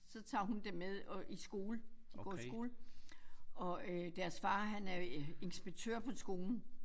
Så tager hun dem med øh i skole de går i skole og øh deres far han er inspektør på skolen